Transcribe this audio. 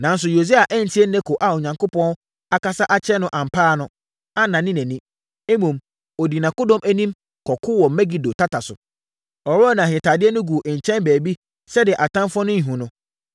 Nanso, Yosia antie Neko a Onyankopɔn akasa akyerɛ no ampa ara no, annane nʼani. Mmom, ɔdii nʼakodɔm anim, kɔkoo wɔ Megido tata so. Ɔworɔɔ nʼahentadeɛ no guu nkyɛn baabi sɛdeɛ atamfoɔ no renhunu no.